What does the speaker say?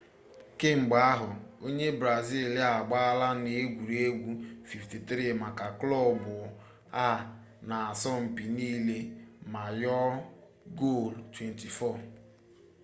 kemgbe ahụ onye brazil a agbaala n'egwuregwu 53 maka klọb a n'asọmpi niile ma yọọ gol 24